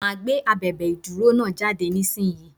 Máa gbé abèbè ìdúró náà jáde nísinsìnyí.